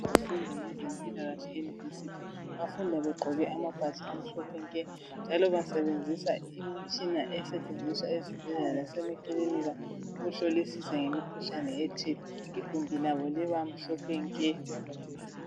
Izifundi zempilakahle ema university bafunda begqoke amabhatshi amhlophe nke, njalo basebenzisa imitshina esetshenziswa ezibhedlela lase makilinika. UkuhIolisisa ngemikhuhlane ethile. Igumbi labo liba mhlophe nke.